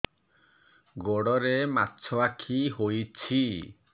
ଗୋଡ଼ରେ ମାଛଆଖି ହୋଇଛି